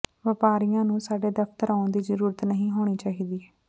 ਵਪਾਰੀਆਂ ਨੂੰ ਸਾਡੇ ਦਫ਼ਤਰ ਆਉਣ ਦੀ ਜ਼ਰੂਰਤ ਨਹੀਂ ਹੋਣੀ ਚਾਹੀਦੀ